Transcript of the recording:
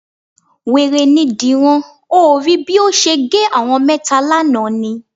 Wèrè ni Dìran. O ò rí bí ó ṣe gé àwọn mẹ́ta lánàá ni?